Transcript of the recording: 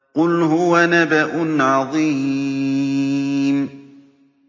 قُلْ هُوَ نَبَأٌ عَظِيمٌ